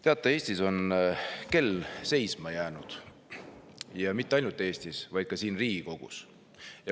Teate, Eestis on kell seisma jäänud, ja mitte ainult Eestis, vaid ka siin Riigikogus.